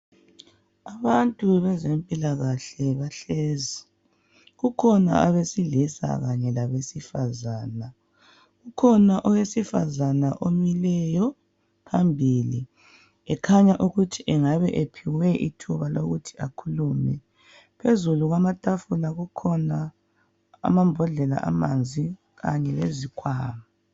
Abantu bezempilakahle bahlezi. Kukhona abesilisa kanye labesifazana. Kukhona owesifazana omileyo phambili ekhanya ukuthi engabe ephiwe ithuba lokuthi akhulume. Phezulu kwamatafula kukhona amambodlela amanzi kanye le zikhwama.